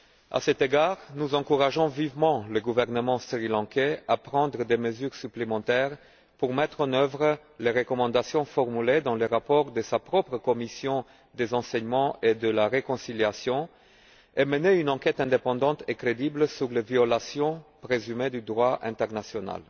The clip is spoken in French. À cet égard, nous encourageons vivement le gouvernement sri lankais à prendre des mesures supplémentaires pour mettre en œuvre les recommandations formulées dans le rapport de sa propre commission des enseignements et de la réconciliation, et mener une enquête indépendante et crédible sur les violations présumées du droit international.